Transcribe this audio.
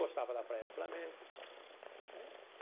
Gostava da Praia do Flamengo é.